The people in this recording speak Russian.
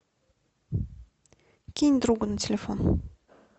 кинь другу на телефон